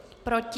Proti?